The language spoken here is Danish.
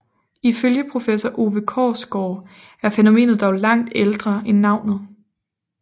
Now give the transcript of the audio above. Ifølge professor Ove Korsgaard er fænomenet dog langt ældre end navnet